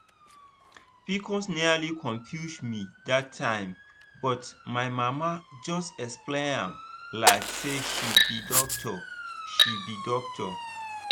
pcos nearly confuse me that time but my mama just explain am like say she be doctor. she be doctor.